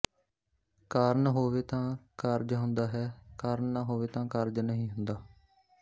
ਕਾਰਨ ਹੋਵੇ ਤਾਂ ਕਾਰਜ ਹੁੰਦਾ ਹੈ ਕਾਰਨ ਨਾ ਹੋਵੇ ਤਾਂ ਕਾਰਜ ਨਹੀਂ ਹੁੰਦਾ